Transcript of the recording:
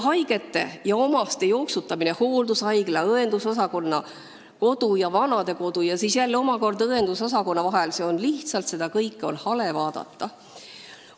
Haigete ja omaste jooksutamine hooldushaigla, õendusosakonna, kodu ja vanadekodu ning siis jälle omakorda õendusosakonna vahel – seda kõike on lihtsalt hale vaadata.